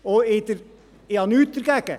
Ich habe nichts dagegen;